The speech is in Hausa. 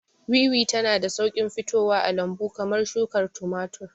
Wiwi tana da sauƙin fitowa a lambu kamar shukar tumatir.